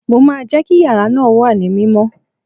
Mo máa jẹ́ kí yàrá náà wà ní mímọ́